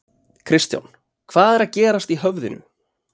Kristján: Hvað er að gerast í höfðinu?